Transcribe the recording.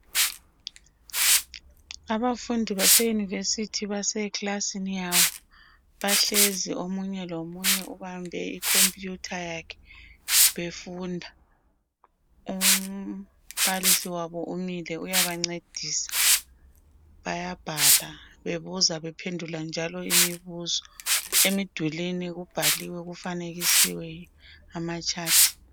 Abafundi base university baseklasini yabo. Bahlezi omunye lomunye ubambe icomputer yakhe befunda. Umbalisi wabo umile uyabancedisa. Bayabhala, bebuza, bephendula njalo imibuzo. Emidulwini kubhaliwe kufanekisiwe amachat.